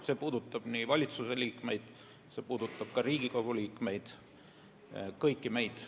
See puudutab valitsuse liikmeid, see puudutab Riigikogu liikmeid – kõiki meid.